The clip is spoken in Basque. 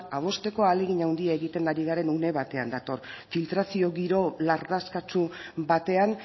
adosteko ahalegin handia egiten ari garen une batean dator filtrazio giro lardaskatsu batean